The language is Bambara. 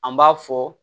An b'a fɔ